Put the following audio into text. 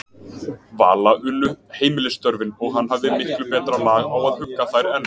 Vala unnu heimilisstörfin, og hann hafði miklu betra lag á að hugga þær en